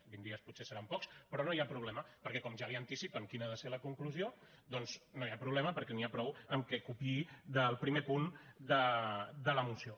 vint dies potser seran pocs però no hi ha problema perquè com que ja li anticipen quina ha de ser la conclusió doncs no hi ha problema perquè n’hi ha prou amb que copiï del primer punt de la moció